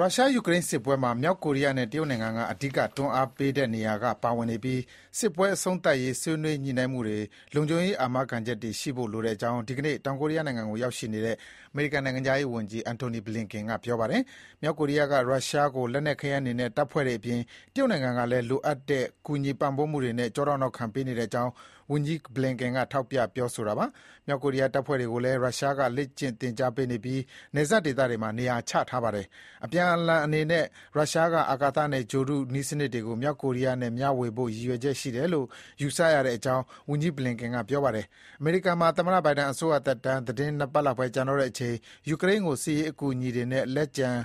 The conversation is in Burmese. ရုရှား-ယူကရိန်းစစ်ပွဲမှာ မြောက်ကိုရီးယားနဲ့တရုတ်နိုင်ငံက အဓိကတွန်းအားပေးနေတဲ့နေရာကနေ ပါဝင်နေပြီး စစ်ပွဲအဆုံးသတ်ရေး ဆွေးနွေးညှိနှိုင်းမှုတွေမှာ လုံခြုံရေးအာမခံချက်တွေရှိဖို့ လိုကြောင်း ဒီကနေ့ တောင်ကိုရီးယားနိုင်ငံကိုရောက်နေတဲ့ အမေရိကန်နိုင်ငံခြားရေးဝန်ကြီး Antony Blinken က ပြောပါတယ်။ မြောက်ကိုရီးယားက ရုရှားကို လက်နက်ခဲယမ်းတွေနဲ့တပ်ဖွဲ့တွေအပြင် တရုတ်နိုင်ငံကလည်း လိုအပ်တဲ့ ကူညီပံ့ပိုးမှုတွေနဲ့ ကျောထောက်နောက်ခံပေးနေကြောင်း ဝန်ကြီး Blinken ကထောက်ပြပြောဆိုတာပါ။ မြောက်ကိုရီးယားတပ်ဖွဲ့တွေကိုလည်း ရုရှားက လေ့ကျင့်သင်ကြားပေးထားပြီး နယ်စပ်ဒေသတွေမှာ နေရာချထားပါတယ်။ အပြန်အလှန်အနေနဲ့ ရုရှားက အာကာသနဲ့ ဂြိုဟ်တုနည်းစနစ်တွေကို မြောက်ကိုရီးယားနဲ့ မျှဝေဖို့ ရည်ရွယ်ချက်ရှိတယ်လို့ ယူဆရတဲ့အကြောင်း ဝန်ကြီး Blinken ကပြောပါတယ်။ အမေရိကန်မှာ သမ္မတ Biden အစိုးရသက်တမ်း သီတင်းနှစ်ပတ်လောက်ပဲ ကျန်တော့တဲ့အချိန် ယူကရိန်းကိုစစ်ရေးအကူအညီတွေနဲ့ လက်ကျန်